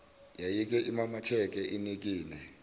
yayike imamatheke inikine